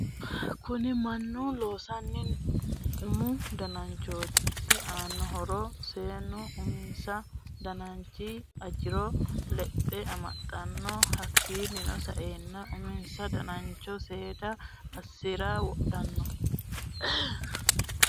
Kunni Manu loosino umu danachooti isi aano horro seenu umisa danchi ajiro lexe amaxano hakiino sa'eena umisa danacho seeda assirarra wodhano.